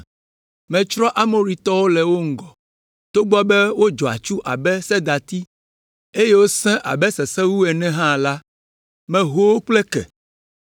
“Metsrɔ̃ Amoritɔwo le wo ŋgɔ, togbɔ be wodzɔ atsu abe sedati, eye wosẽ abe sesewu ene hã la, meho wo kple ke.